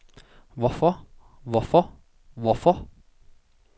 hvorfor hvorfor hvorfor